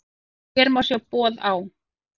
Hér má sjá boð á